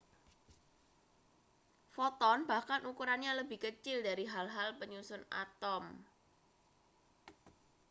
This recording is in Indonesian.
foton bahkan ukurannya lebih kecil dari hal-hal penyusun atom